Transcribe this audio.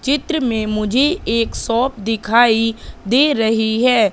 चित्र में मुझे एक शॉप दिखाई दे रहीं हैं।